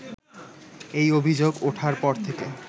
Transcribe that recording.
এই অভিযোগ ওঠার পর থেকে